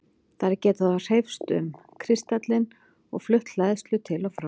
Þær geta þá hreyfst um kristallinn og flutt hleðslu til og frá.